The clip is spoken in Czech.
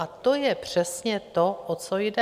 A to je přesně to, o co jde.